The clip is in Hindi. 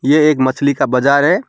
ये एक मछली का बाजार है।